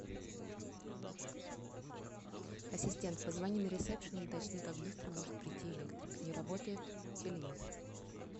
ассистент позвони на ресепшн уточни как быстро может прийти электрик не работает телевизор